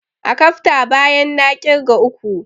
Akafta, bayan na ƙirga uku!